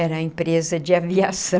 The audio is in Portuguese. Era a empresa de aviação.